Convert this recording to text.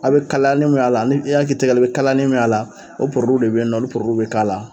A bɛ kaliyali min y'a la, ni i y'a k'i tigɛ la i bɛ kaliyali min y'a la o de bɛ yen nɔ olu bɛ k'a la.